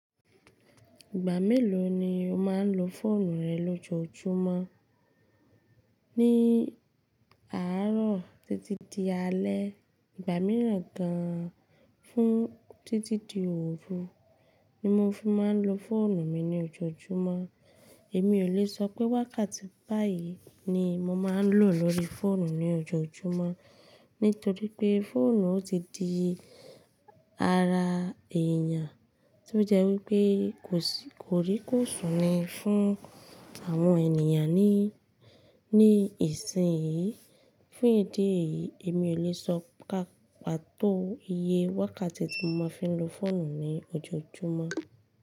Ìgbà mélòó ni o máa ń lo fóònù rẹ lójoojúmọ́? Ní àárọ̀ títí di alẹ́, ìgbà mìíràn gan an fún títí di oòru ni mo fi máa ń lo fóònù mi ní ojoojúmọ́. Èmi ò lè sọ pé wákàtí báyìí ni mo máa ń lò lórí fóònù ní ojoojúmọ́, nítorí pé fóònù ti di ara èèyàn, tí ó jẹ́ wípé kò si kòríkòsùn ni fún àwọn ènìyàn ní, ní ìsìn yìí. Fún ìdí èyí, èmi ò lè sọ pàtó iye wákàtí tí mo máa ń fi lo fóònù ní ojoojúmọ́.